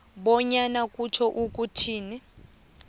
bonyana kutjho ukuthini